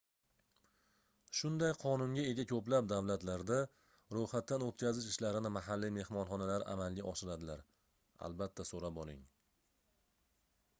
shunday qonunga ega ko'plab davlatlarda roʻyxatdan oʻtkazish ishlarini mahalliy mehmonxonalar amalga oshiradilar albatta so'rab oling